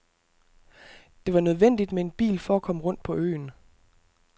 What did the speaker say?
Det var nødvendigt med en bil for at komme rundt på øen.